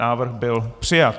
Návrh byl přijat.